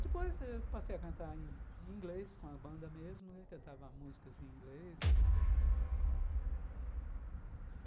Depois eu passei a cantar em inglês com a banda mesmo, cantava músicas em inglês.